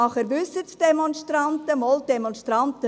Dann wissen es Demonstranten.